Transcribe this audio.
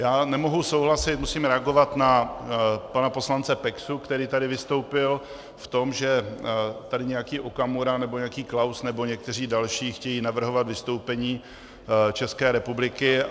Já nemohu souhlasit, musím reagovat na pana poslance Peksu, který tady vystoupil v tom, že tady nějaký Okamura nebo nějaký Klaus nebo někteří další chtějí navrhovat vystoupení České republiky.